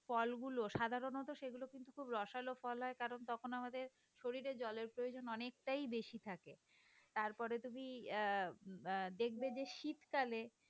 ফলগুলো সাধারণত সেগুলো খুব রসালো ফল হয় কারণ তখন আমাদের শরীরে জলের প্রয়োজন অনেকটাই বেশি থাকে। তারপরে তুমি আহ দেখবে যে শীতকালে